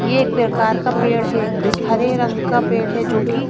ये एक प्रकार का पेड़ है हरे रंग का पेड़ है जो की--